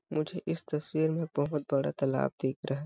मुझे इस तस्वीर मे बहोत बड़ा तालाब दिख रहा है।